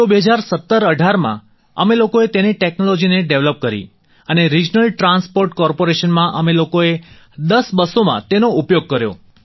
તો 201718માં અમે લોકોએ તેની ટેક્નોલોજીને ડેવેલપ કરી અને રિજનલ ટ્રાન્સપોર્ટ કોર્પોરેશનમાં અમે લોકોએ 10 બસોમાં તેનો ઉપયોગ કર્યો